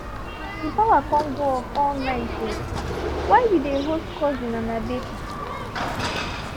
the power con go off all night while we dey host cousin and her baby